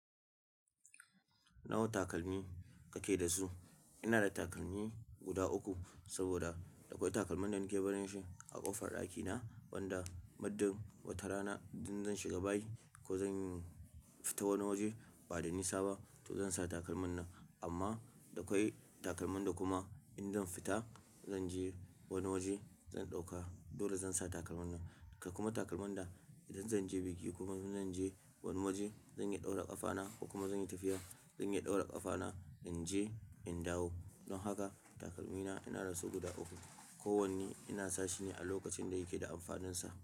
Nawa takalmi kake da su? Ina da takalmi guda uku saboda akwai takalman da nake barin shi a ƙofar ɗakina wanda muddin wata rana idan zan shiga bayi ko zan fita wani waje ba da nisa ba to zan sa takalman nan. Amma akwai takalman da kuma idan zan fita, zan je wani waje, zan ɗauka dole zan sa takalman nan. Kuma takalman da idan zan je biki kuma zan je wani waje, zan iya ɗaura ƙafana ko kuma zan yi tafiya, zan iya ɗaura ƙafana, in je in dawo. Don haka takalmina ina da su guda uku. Kowanne ina sa shi ne a lokacin da yake da amfaninsa.